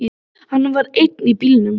Hann var einn í bílnum.